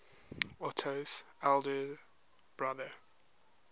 otto's elder brother